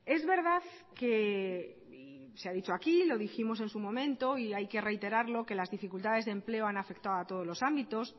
es verdad que se ha dicho aquí lo dijimos en su momento y hay que reiterarlo que las dificultades de empleo han afectado a todos los ámbitos